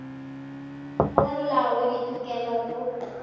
go molao wa ditokelo go